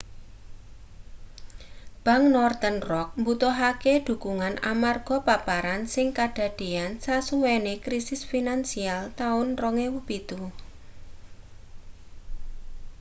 bank northern rock mbutuhake dhukungan amarga paparan sing kadadeyan sasuwene krisis finansial taun 2007